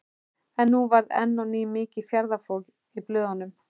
En nú varð enn á ný mikið fjaðrafok í blöðunum.